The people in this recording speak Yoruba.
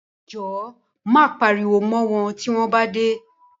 Jọ̀wọ́ má pariwo mọ́ wọn tí wọ́n bá dé.